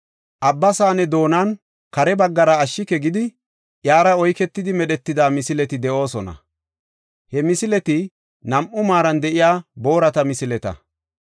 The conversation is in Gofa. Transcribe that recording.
Abba Saane doonan kare baggara yuuyi aadhidi, iyara oyketidi medhetida misileti de7oosona; he misileti nam7u maaran de7iya boorata misileta.